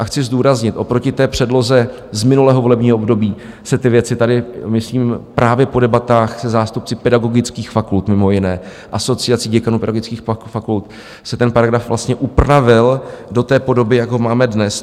A chci zdůraznit, oproti té předloze z minulého volebního období se ty věci tady, myslím právě po debatách se zástupci pedagogických fakult, mimo jiné Asociací děkanů pedagogických fakult, se ten paragraf vlastně upravil do té podoby, jak ho máme dnes.